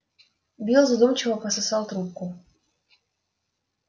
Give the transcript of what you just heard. билл задумчиво пососал трубку